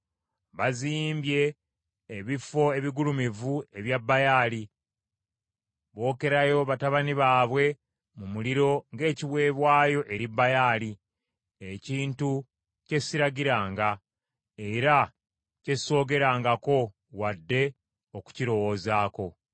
Bazimbye ebifo ebigulumivu ebya Baali, bookereyo batabani baabwe mu muliro ng’ekiweebwayo eri Baali, ekintu kye siragiranga, era kye soogerangako, wadde okukirowoozaako.